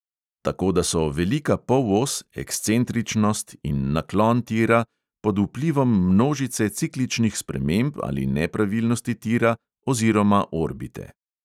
Tako da so velika polos, ekscentričnost in naklon tira pod vplivom množice cikličnih sprememb ali nepravilnosti tira oziroma orbite.